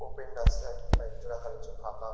open রাস্তায় বাইকটা রাখা রয়েছে ফাঁকা --